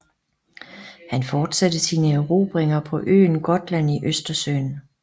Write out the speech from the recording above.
Han fortsatte sine erobringer på øen Gotland i Østersøen